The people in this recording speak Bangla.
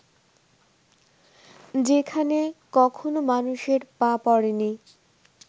যেখানে কখনো মানুষের পা পড়েনি